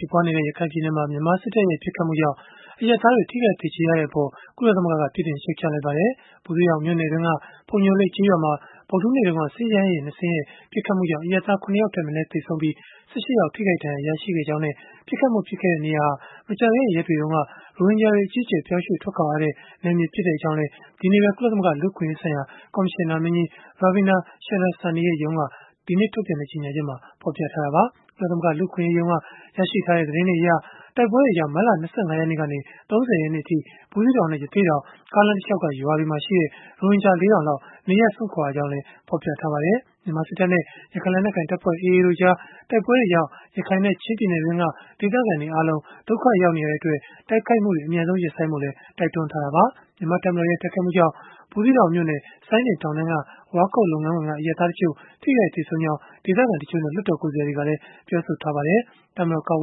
ြစ်ပွားနေတဲ့ ရခိုင်ပြည်နယ်မှာ မြန်မာစစ်တပ်ရဲ့ ပစ်ခတ်မှုကြောင့်အရပ်သားတွေ ထိခိုက်သေကျေခဲ့ရတဲ့အပေါ် ကုလသမဂ္ဂက ပြစ်တင်ရှုတ်ချလိုက်ပါတယ်။ ဘူးသီးတောင်မြို့နယ်တွင်းက ဖုန်ညိုလိပ် ကျေးရွာမှာ ဧပြီလ ၃ ရက်နေ့ ညနေခင်းမှာ စစ်ရဟတ်ယာဉ် ၂ စင်းရဲ့ ပစ်ခတ်မှုကြောင့် လယ်ကွင်းထဲမှာ နွားတွေနဲ့အတူ ရှိနေတဲ့ အရပ်သား ၇ ယောက်ထက်မနည်း သေဆုံးပြီး၊ ၁၈ ယောက် ထိခိုက် ဒဏ်ရာရရှိခဲ့ကြောင်းနဲ့ ပစ်ခတ်မှု ဖြစ်ခဲ့တဲ့ နေရာဟာ မကြာသေးခင် ရက်တွေတုန်းက ရိုဟင်ဂျာတွေ အကြီးအကျယ် ပြောင်းရွှေ့ထွက်ခွာခဲ့ကြရတဲ့ နယ်မြေတခု ဖြစ်ကြောင်းလည်း ကုလသမဂ္ဂ လူ့အခွင့်အရေးဆိုင်ရာ ကော်မရှင်နာမင်းကြီးရုံး ပြောခွင့်ရသူ Ravina Shamdasani က ဆွစ်ဇာလန်နိုင်ငံ ဂျနီဗာမြို့က ကုလသမဂ္ဂရုံးချုပ် သတင်းစာရှင်းလင်းပွဲမှာ ပြောဆိုလိုက်တာပါ။ ကုလသမဂ္ဂ လူ့အခွင့်အရေးရုံးက ရရှိထားတဲ့ သတင်းတွေအရ တိုက်ပွဲတွေကြောင့် မတ်လ ၂၅ ရက်ကနေ ၃၀ ရက်နေ့အထိ ဘူးသီးတောင်နဲ့ ရသေ့တောင် ကားလမ်းတလျှောက်က ရွာတွေမှာရှိတဲ့ ရိုဟင်ဂျာ ၄၀၀၀ လောက် နေရပ်စွန့်ခွာခဲ့ရကြောင်းလည်း ဖော်ပြထားပါတယ်။ မြန်မာစစ်တပ်နဲ့ ရခိုင်လက်နက်ကိုင် တပ်ဖွဲ့ (AA) တို့ကြား တိုက်ပွဲတွေကြောင့် ရခိုင်နဲ့ ချင်းပြည်နယ်တွင်းက ဒေသခံတွေအားလုံး ဒုက္ခရောက်နေတဲ့အတွက် တိုက်ခိုက်မှုတွေ အမြန်ဆုံး ရပ်ဆိုင်းဖို့လည်း တိုက်တွန်းခဲ့တာပါ။ တပ်မတော် ကာကွယ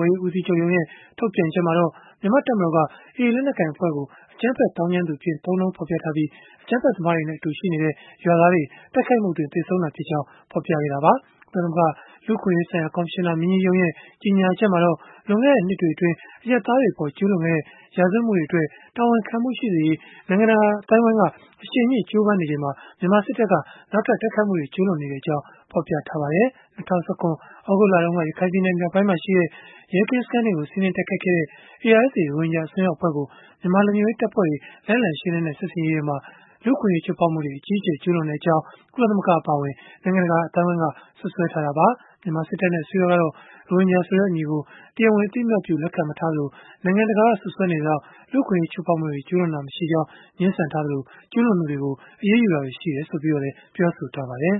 ်ရေးဦးစီးချုပ်ရုံးရဲ့ ဒီသတင်းပတ်ထဲ ထုတ်ပြန်ချက်မှာတော့ မြန်မာ့တပ်မတော်က အကြမ်းဖက် သောင်းကျန်းသူအဖြစ် သုံးနှုန်းဖော်ပြထားတဲ့ AA လက်နက်ကိုင်အဖွဲ့ကို နှိမ်နင်းရာမှာ အတူရှိနေတဲ့ ရွာသားတွေ သေဆုံးခဲ့တာဖြစ်ကြောင်း ဖော်ပြခဲ့တာပါ။ ကုလသမဂ္ဂ လူ့အခွင့်အရေးဆိုင်ရာ ကော်မရှင်နာမင်းကြီးရုံးရဲ့ ကြေညာချက်မှာတော့ လွန်ခဲ့တဲ့နှစ်တွေအတွင်း အရပ်သားတွေအပေါ် ကျုးလွန်ခဲ့တဲ့ ရာဇဝတ်မှုတွေအတွက် တာဝန်ခံမှု ရှိစေရေး နိုင်ငံတကာ အသိုင်းအဝန်းက အရှိန်မြှင့် ကြိုးပမ်းနေချိန်မှာ မြန်မာစစ်တပ်က နောက်ထပ် တိုက်ခိုက်မှုတွေ ကျုးလွန်နေကြောင်း ဖော်ပြထားပါတယ်။ ၂၀၁၇ သြဂုတ်လတုန်းက ရခိုင်ပြည်နယ် မြောက်ပိုင်းမှာရှိတဲ့ ရဲကင်းစခန်းတွေကို စီးနင်းတိုက်ခိုက်ခဲ့တဲ့ ARSA ရိုဟင်ဂျာ အစွန်းရောက် အဖွဲ့ကို မြန်မာလုံခြုံရေးတပ်ဖွဲ့တွေ လိုက်လံရှင်းလင်းတဲ့ စစ်ဆင်ရေးတွေအတွင်း လူ့အခွင့်အရေး ချိုးဖောက်မှုတွေ အကြီးအကျယ် ကျုးလွန်ခဲ့ကြောင်း ကုလသမဂ္ဂ အပါအဝင် နိုင်ငံတကာ အသိုင်းအဝန်းက စွပ်စွဲထားတာပါ။ မြန်မာစစ်တပ်နဲ့ အစိုးရကတော့ ရိုဟင်ဂျာဆိုတဲ့ အမည်ကို တရားဝင် အသိအမှတ်ပြု လက်ခံမထားသလို၊ နိုင်ငံတကာက စွပ်စွဲနေသလောက် လူ့အခွင့်အရေး ချိုးဖောက်မှုတွေ ကျုးလွန်ခဲ့တာမရှိကြောင်းလည်း ငြင်းဆန်ထားပြီး၊ ကျုးလွန်သူတွေကို အရေးယူခဲ့တာတွေ ရှိခဲ့ကြောင်းလည်း ပြောဆိုထားပါတယ်